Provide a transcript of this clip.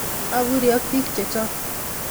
Apurii ak pik chechok